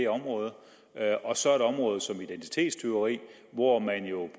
området og så et område som identitetstyveri hvor man jo